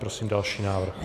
Prosím další návrh.